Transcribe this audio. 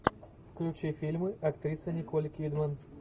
включи фильмы актрисы николь кидман